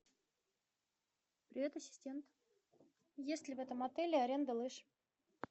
привет ассистент есть ли в этом отеле аренда лыж